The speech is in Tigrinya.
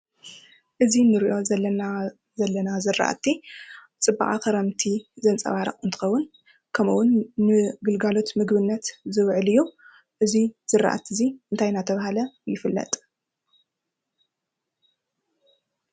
እዚ እንሪኦ ዘለና ዝራእቲ ፅባቀ ክረምቲ ዘንፀባርቅ እንትኸውን። ኸምኡ እውን ንግልጋሎት ምግብነት ዝውዕል እዩ። እዚ ዝራእቲ እዙይ እንታይ እናተብሃለ ይፍለጥ።